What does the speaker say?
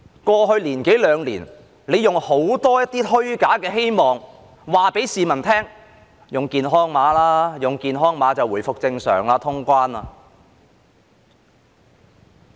過去一兩年，政府用很多虛假希望，告訴市民："用健康碼吧，用健康碼便可回復正常，可以通關。